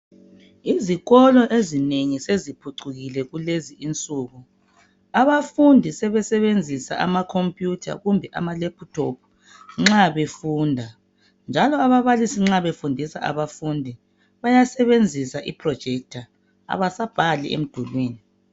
Izikolo ezinengi seziphucukile kulezi insuku abafundi sebesebenzisa amacomputer kumbe amalaptop nxa befunda njalo ababalisi nxa befundisa abafundi bayasebenzisa iprojector abasabhali emdulwini